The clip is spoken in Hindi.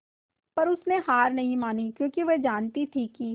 पर उसने हार नहीं मानी क्योंकि वह जानती थी कि